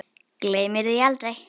Gleymir því aldrei.